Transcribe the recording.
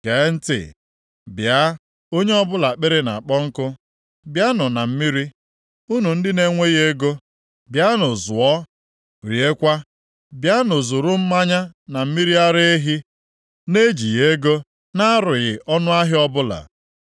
Gee ntị, bịa onye ọbụla akpịrị na-akpọ nkụ, bịanụ na mmiri, unu ndị na-enweghị ego bịanụ zụọ, riekwa. Bịanụ, zuru mmanya na mmiri ara ehi na-ejighị ego na-arụghị ọnụahịa ọbụla.